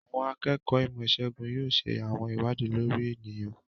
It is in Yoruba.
Àwọn akẹ́kọ̀ọ́ ìmọ̀-ìṣègùn yóò ṣe àwọn ìwádìí lórí ènìyàn.